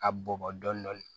A bɔnbɔn dɔndɔni